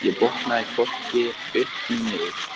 Ég botnaði hvorki upp né niður.